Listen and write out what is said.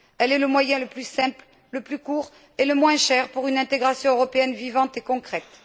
Elle est le moyen le plus simple, le plus court et le moins cher pour une intégration européenne vivante et concrète.